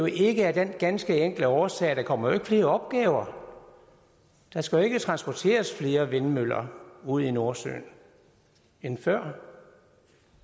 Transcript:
ikke af den ganske enkle årsag at der ikke kommer flere opgaver der skal jo ikke transporteres flere vindmøller ud i nordsøen end før